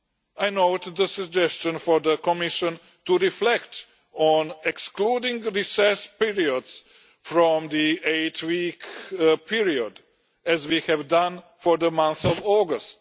I note the suggestion for the Commission to reflect on excluding recess periods from the eight-week period, as we have done for the month of August.